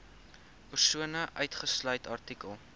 persone uitgesluit artikel